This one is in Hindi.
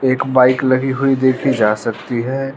एक बाइक लगी हुई देखी जा सकती है।